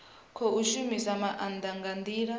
khou shumisa maanda nga ndila